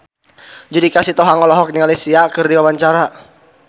Judika Sitohang olohok ningali Sia keur diwawancara